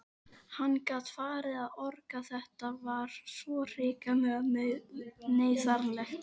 Hann gat farið að orga, þetta var svo hrikalega neyðarlegt.